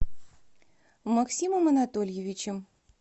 максимом анатольевичем